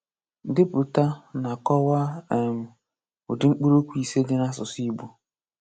Depụta na kọwaa um ụdị mkpụrụokwu ise dị n’asụsụ Igbo.